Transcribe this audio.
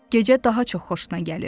Gecə daha çox xoşuna gəlirdi.